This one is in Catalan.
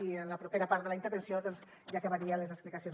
i en la propera part de la intervenció doncs ja acabaria les explicacions